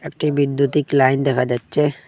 টিভির দুদিক লাইন দেখা যাচ্ছে।